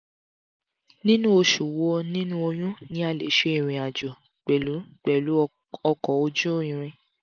ninu oṣu wo ninu oyun ni a le ṣe irin ajo pẹlu pẹlu ọkọ oju iriǹ?